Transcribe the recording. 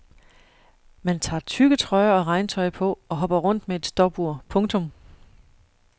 Man tager tykke trøjer og regntøj på og hopper rundt med et stopur. punktum